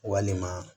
Walima